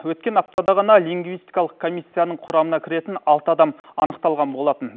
өткен аптада ғана лингвистикалық комиссияның құрамына кіретін алты адам анықталған болатын